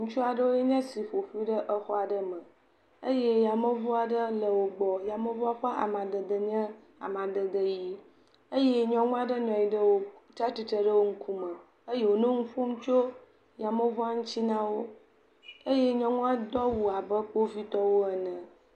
Ŋutu aɖewoe nye si ƒo ƒu ɖe exɔ aɖe me eye yameŋuaɖe le wogbɔ. Yameŋua ƒe amadede nye amadede yii. Eye nyɔnu nɔ anyi aɖe wo, tsa tsitre ɖe wo ŋkume eye wònɔ nu ƒom tso yameŋua ŋtsi na wo eye nyɔnua do awo abe Kpovitɔwo ene.